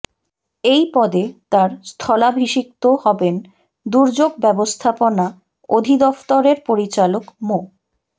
এই পদে তার স্থলাভিষিক্ত হবেন দুর্যোগ ব্যবস্থাপনা অধিদফতরের পরিচালক মো